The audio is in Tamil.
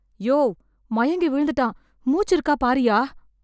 யோவ், மயங்கி விழுந்துட்டான், மூச்சு இருக்கா பாருய்யா.